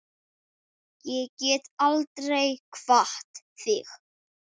Ég get aldrei kvatt þig.